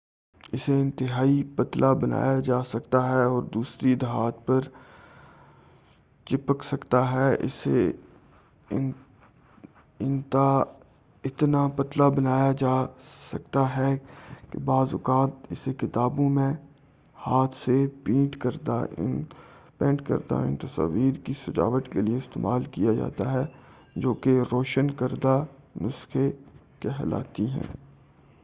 اسے انتہائی پتلا بنایا جا سکتا ہے اور دوسری دھات پر چپک سکتا ہے اسے اتنا پتلا بنایا جا سکتا ہے کہ بعض اوقات اسے کتابوں میں ہاتھ سے پینٹ کردہ ان تصاویر کی سجاوٹ کے لیے استعمال کیا جاتا تھا جوکہ روشن کردہ نسخے کہلاتی ہیں